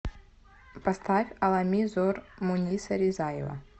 поставь алами зор муниса ризаева